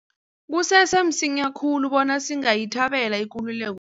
Kusese msinya khulu bona singayithabela ikululeko